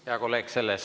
Hea kolleeg!